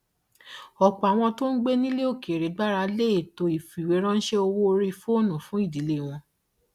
ọpọ àwọn tó gbé nílẹ òkèèrè gbára lé ètò ìfìwéránṣẹ owó orí fóònù fún ìdílé wọn